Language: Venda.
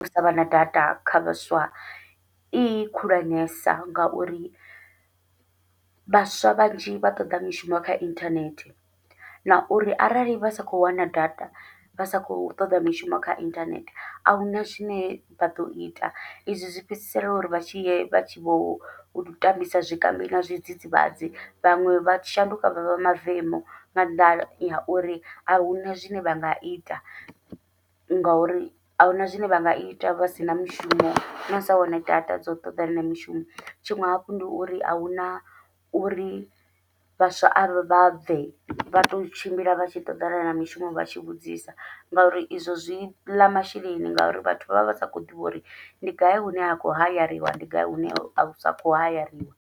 U savha na data kha vhaswa i khulwanesa, ngauri vhaswa vhanzhi vha toḓa mishumo kha inthanethe na uri arali vha sa khou wana data vha sa khou toḓa mishumo kha inthanethe ahuna zwine vha ḓo ita, izwi zwi fhedzisela uri vha tshile vha tshi vho tambisa zwikambi na zwidzidzivhadzi, vhaṅwe vha shanduka vha vha mavemu nga nnḓa ha uri ahuna zwine vha nga ita. Ngauri ahuna zwine vha nga ita vha sina mushumo nau sa wana data dza u ṱoḓana na mishumo, tshiṅwe hafhu ndi uri ahuna uri vhaswa avha vhabve vha to tshimbila vha tshi ṱoḓana na mishumo vha tshi vhudzisa, ngauri izwo zwi ḽa masheleni ngauri vhathu vha vha vha sa khou ḓivha uri ndi gai hune ha khou hayariwa ndi gai hune ha sa kho hayariwa.